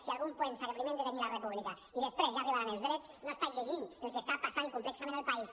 si algú pensa que primer hem de tenir la república i després ja arribaran els drets no està llegint el que està passant complexament al país